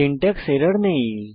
syntax error নেই